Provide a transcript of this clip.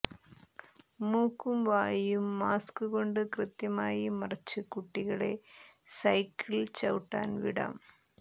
മൂക്കും വായും മാസ്ക് കൊണ്ട് കൃത്യമായി മറച്ച് കുട്ടികളെ സൈക്കിൾ ചവിട്ടാൻ വിടാം